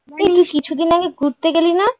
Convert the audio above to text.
এই তুই কিছুদিন আগে ঘুরতে গেলি না?